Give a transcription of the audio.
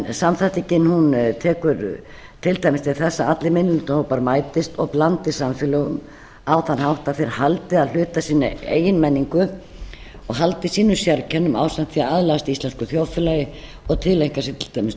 samþættingin tekur til dæmis til þess að allir minnihlutahópar mætist og blandist samfélögum á þann hátt að þeir haldi að hluta sinni eigin menningu og haldi sínum sérkennum ásamt því að aðlagast íslensku þjóðfélagi og tileinka sér til dæmis